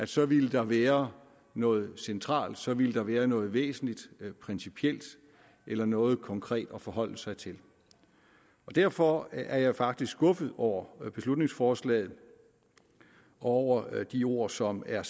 så ville der være noget centralt så ville der være noget væsentligt noget principielt eller noget konkret at forholde sig til derfor er jeg faktisk skuffet over beslutningsforslaget og over de ord som er